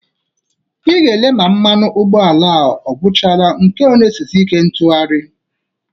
Ị ga-ele ma mmanụ ntụgharị ụgbọala a ọ kwụchala nke a ọ na-esizi ike ịtụgharị